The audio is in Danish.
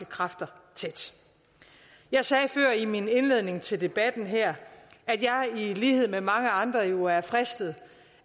kræfter tæt jeg sagde før i min indledning til debatten her at jeg i lighed med mange andre jo er fristet